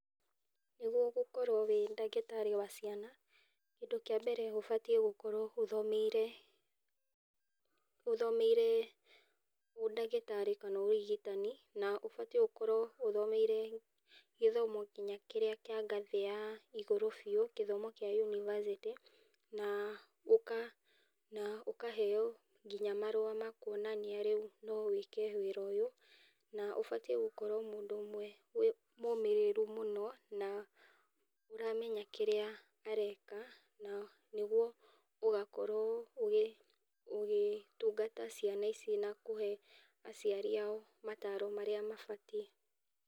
Nĩguo gũkorwo ũrĩ ndagĩtarĩ wa ciana kĩndũ kĩa mbere ũbatie gũkorwo ũthomeire, ũthomeire kana ũndagĩtarĩ kana ũrigitani, na ũbatie gũkorwo ũthomeire gĩthomo nginya kĩrĩa kĩa ngathĩ ya igũrũ biũ gĩthomo kĩa ngathĩ ya univasĩtĩ na ũkaheo makwonania rĩu no wike wĩra ũyũ na ũbatie gũkorwo mũndũ ũmwe mũmĩrĩru mũno na aramenya kĩrĩa areka na nĩguo ũgakorwo ũgĩtungata ciana ici na kũhe aciari ao mataro marĩa mabatie.